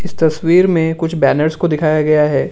इस तस्वीर में कुछ बैनर्स को दिखाया गया हैं।